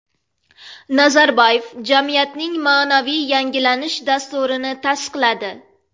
Nazarboyev jamiyatning ma’naviy yangilanish dasturini tasdiqladi.